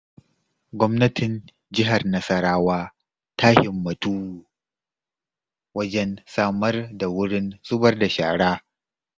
Gwamnatin Jihar Nasarwa ta himmatu wajen samar da wurin zubar da shara.